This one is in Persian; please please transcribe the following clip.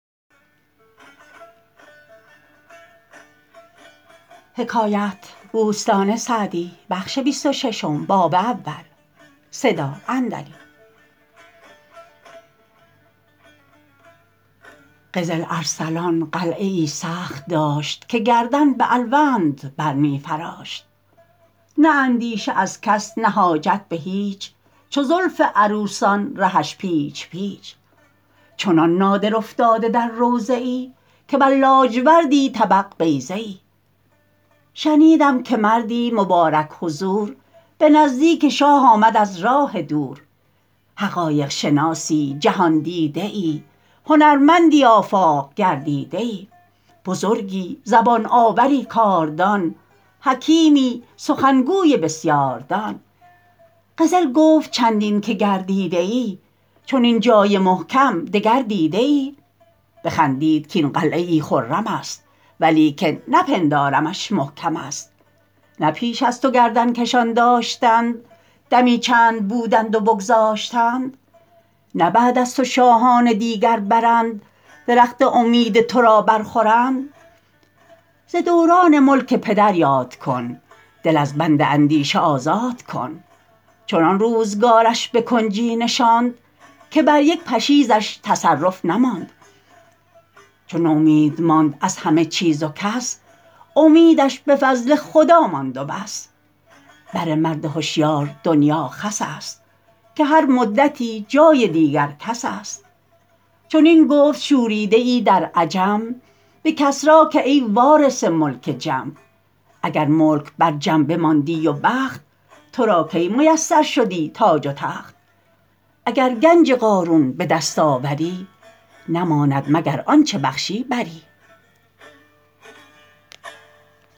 قزل ارسلان قلعه ای سخت داشت که گردن به الوند بر می فراشت نه اندیشه از کس نه حاجت به هیچ چو زلف عروسان رهش پیچ پیچ چنان نادر افتاده در روضه ای که بر لاجوردی طبق بیضه ای شنیدم که مردی مبارک حضور به نزدیک شاه آمد از راه دور حقایق شناسی جهاندیده ای هنرمندی آفاق گردیده ای بزرگی زبان آوری کاردان حکیمی سخنگوی بسیاردان قزل گفت چندین که گردیده ای چنین جای محکم دگر دیده ای بخندید کاین قلعه ای خرم است ولیکن نپندارمش محکم است نه پیش از تو گردن کشان داشتند دمی چند بودند و بگذاشتند نه بعد از تو شاهان دیگر برند درخت امید تو را بر خورند ز دوران ملک پدر یاد کن دل از بند اندیشه آزاد کن چنان روزگارش به کنجی نشاند که بر یک پشیزش تصرف نماند چو نومید ماند از همه چیز و کس امیدش به فضل خدا ماند و بس بر مرد هشیار دنیا خس است که هر مدتی جای دیگر کس است چنین گفت شوریده ای در عجم به کسری که ای وارث ملک جم اگر ملک بر جم بماندی و بخت تو را کی میسر شدی تاج و تخت اگر گنج قارون به دست آوری نماند مگر آنچه بخشی بری